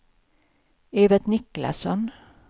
Evert Niklasson